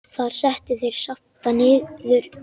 Þar settu þeir Skapta niður.